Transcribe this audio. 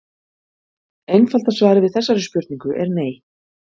Einfalda svarið við þessari spurningu er nei.